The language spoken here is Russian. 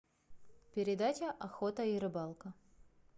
передача охота и рыбалка